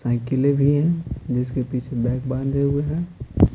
साइकिलें भी हैं जिसके पीछे बैग बांधे हुए हैं।